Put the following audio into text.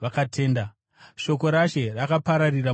Shoko raShe rakapararira mudunhu rose.